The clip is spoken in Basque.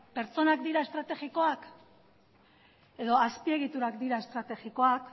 pertsonak dira estrategikoak edo azpiegiturak dira estrategikoak